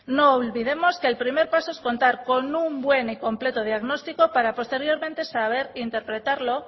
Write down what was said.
no olvidemos que el primer paso es contar con un buen y completo diagnóstico para posteriormente saber interpretarlo